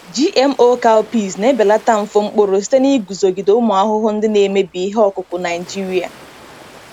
GMO cowpeas na-ebelata mfu mkpụrụ site na iguzogide ụmụ ahụhụ ndị na-emebi ihe ọkụkụ Naijiria.